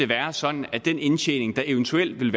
være sådan at den indtjening der eventuelt vil